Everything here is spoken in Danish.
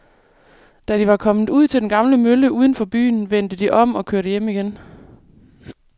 Da de var kommet ud til den gamle mølle uden for byen, vendte de om og kørte hjem igen.